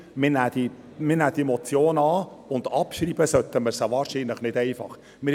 Wir nehmen die Motion an, doch abschreiben sollten wir sie wahrscheinlich nicht einfach so.